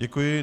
Děkuji.